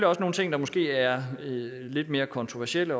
også nogle ting der måske er lidt mere kontroversielle